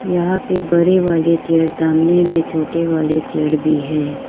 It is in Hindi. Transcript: यहां पे बड़े वाली चेयर्स सामने में छोटे वाले चेयर्स भीं है।